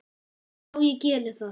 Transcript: Já, ég geri það